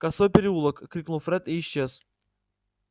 косой переулок крикнул фред и исчез